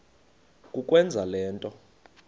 kukwenza le nto